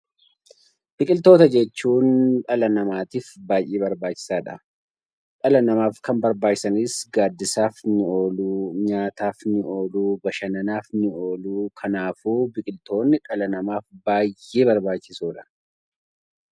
Biqiloota jechuun dhala namaatiif baay'ee barbaachisaadha. Dhala namaatiif kan barbaachisanis gaaddisaaf, nyaataaf , bashannanaaf ni oolu. Kanaaf biqiltoonni dhala namaaf baay'ee barbaachisoodha